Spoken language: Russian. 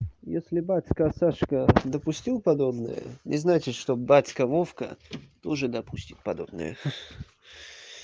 если батько сашка допустил подобное не значит что батька вовка тоже допустить подобное